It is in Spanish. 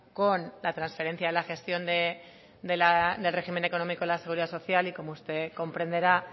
con la transferencia de la gestión del régimen económico de la seguridad social y como usted comprenderá